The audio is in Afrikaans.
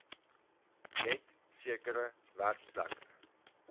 net sekere werkplekke